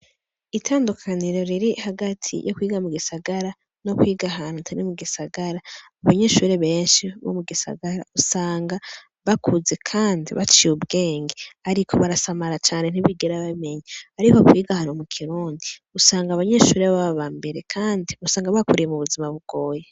Itandukaniro riri hagati yo kwiga mu gisagara no kwiga hanuta ri mu gisagara abanyeshure benshi bo mu gisagara usanga bakuze, kandi baciye ubwenge, ariko barasamara cane ntibigera bamenya, ariko kwigahanu mu kirundi usanga abanyeshure b'abo ba mbere, kandi usanga bakuriye mu buzima bugoye.